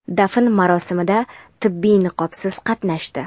dafn marosimida tibbiy niqobsiz qatnashdi.